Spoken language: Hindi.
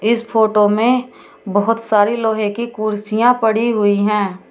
इस फोटो में बहोत सारी लोहे की कुर्सियां पड़ी हुई हैं।